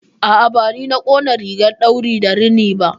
A'a, bani na ƙona rigar ɗauri da rini ba.